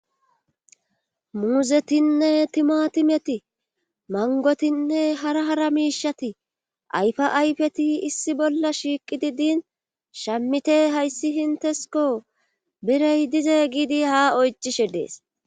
muuzetinne timatimeti mangotinne hara hara miishati ayfa ayfeti issi bolla shiiqidi din shammite hayssi intesko birey dize giidi ha oycishe dees